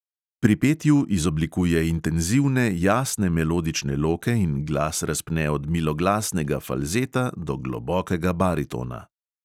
Pri petju izoblikuje intenzivne, jasne melodične loke in glas razpne od miloglasnega falzeta do globokega baritona.